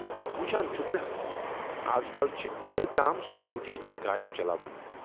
وُچھان چھُکھنا ازکل چھِ کوٗرِ تام سِکوٗٹی تہٕ گاڑِ چلاوان۔